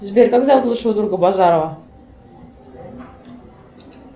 сбер как зовут лучшего друга базарова